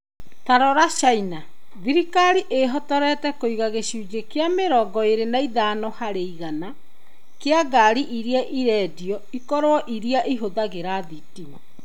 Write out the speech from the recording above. Ta rora China. Thirikari ĩĩhotorete kũiga gĩcunjĩ kĩa mĩrongo eerĩ na ithano harĩ igana kĩa ngaari iria irendio ikorwo iria ihũthagĩra thitima.